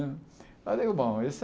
Eu falei, bom, esse é...